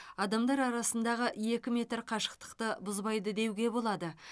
адамдар арасындағы екі метр қашықтықты бұзбайды деуге болады